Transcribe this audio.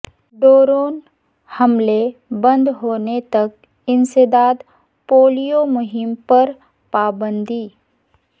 drone حملے بند ہونے تک انسداد پولیو مہم پر پابندی